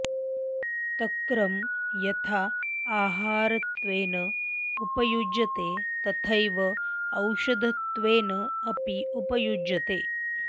तक्रं यथा आहारत्वेन उपयुज्यते तथैव औषधत्वेन अपि उपयुज्यते